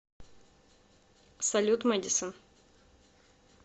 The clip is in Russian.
салют мэдисон